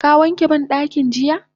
Ka wanke bandakin jiya?